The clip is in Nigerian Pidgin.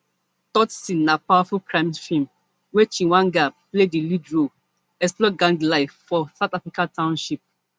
tsotsi na powerful crime feem wia chweneyagae play di lead role explore gang life for south african township